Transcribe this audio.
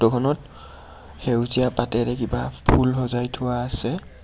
সেউজীয়া পাতেৰে কিবা ফুল সজাই থোৱা আছে।